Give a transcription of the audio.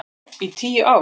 Í tíu ár.